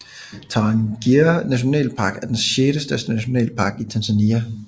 Tarangire nationalpark er den sjettestørste nationalpark i Tanzania